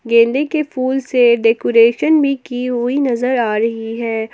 गेंदे के फूल से डेकोरेशन भी की हुई नजर आ रही है।